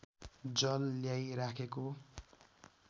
जल ल्याई राखेको